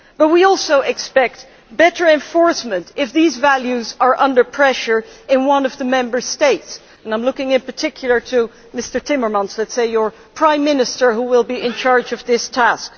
But we also expect better enforcement if these values are under pressure in one of the Member States and I am looking in particular to Mr Timmermans, your, let us say, Prime Minister, who will be in charge of this task.